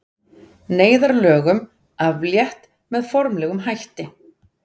Neyðarlögum aflétt með formlegum hætti